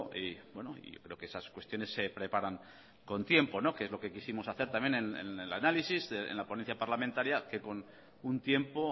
y yo creo que esas cuestiones se preparan con tiempo que es lo que quisimos hacer también en el análisis en la ponencia parlamentaria que con un tiempo